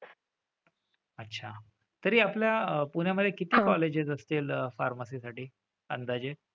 अच्छा. तरी आपल्या पुण्यामधे किती colleges असतील pharmacy साठी? अंदाजे?